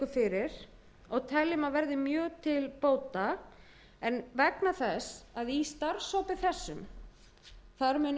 fyrir og teljum að verði mjög til bóta en vegna þess að í starfshópi þessum munu ellefu